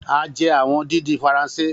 A jẹ awọn didin Faranse.